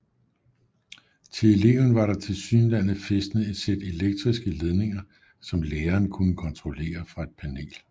Til eleven var der tilsyneladende fæstnet et sæt elektriske ledninger som læreren kunne kontrollere fra et panel